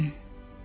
Eşitdim.